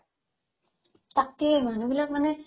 তাকে মানুহবিলাক মানে